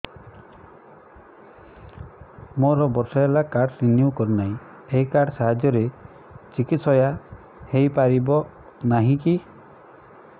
ମୋର ବର୍ଷେ ହେଲା କାର୍ଡ ରିନିଓ କରିନାହିଁ ଏହି କାର୍ଡ ସାହାଯ୍ୟରେ ଚିକିସୟା ହୈ ପାରିବନାହିଁ କି